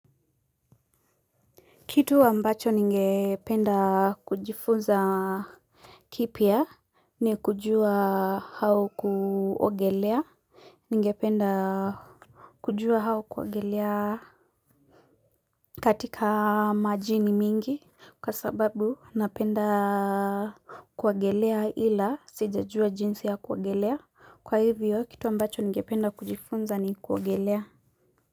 Kitu ambacho ningependa kujifunza kipya ni kujua au kuogelea. Ningependa kujua au kuogelea katika majini mingi. Kwa sababu napenda kuogelea ila sija jua jinsi ya kuogelea. Kwa hivyo kitu ambacho ningependa kujifunza ni kuogelea.